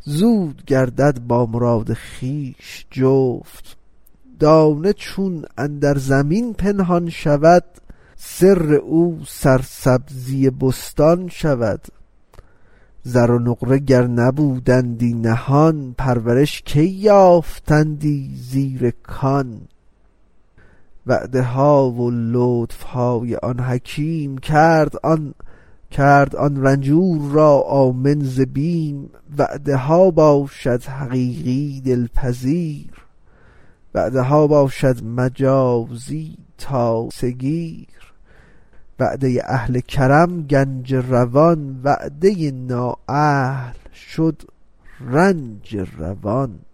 زود گردد با مراد خویش جفت دانه چون اندر زمین پنهان شود سر او سرسبزی بستان شود زر و نقره گر نبودندی نهان پرورش کی یافتندی زیر کان وعده ها و لطف های آن حکیم کرد آن رنجور را آمن ز بیم وعده ها باشد حقیقی دل پذیر وعده ها باشد مجازی تاسه گیر وعده اهل کرم گنج روان وعده نااهل شد رنج روان